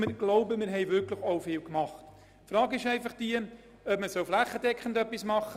Ich denke, wir haben auch viel getan.